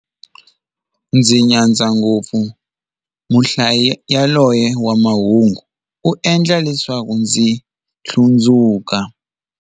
Ndzi nyadza ngopfu muhlayi yaloye wa mahungu, u endla leswaku ndzi hlundzuka.